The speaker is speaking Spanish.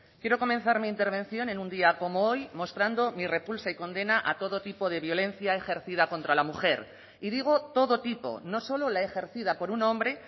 quiero comenzar mi intervención en un día como hoy mostrando mi repulsa y condena a todo tipo de violencia ejercida contra la mujer y digo todo tipo no solo la ejercida por un hombre